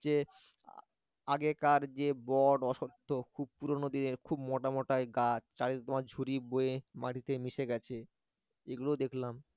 যে আগেকার যে বট অশ্বত্থ পুরনো দিনের খুব মোটা মোটা গাছ চারিদিকে তোমার ঝুরি বয়ে মাটিতে মিশে গেছে এগুলো দেখলাম।